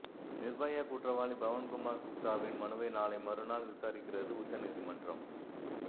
நிர்பயா குற்றவாளி பவன்குமார் குப்தாவின் மனுவை நாளை மறுநாள் விசாரிக்கிறது உச்சநீதிமன்றம்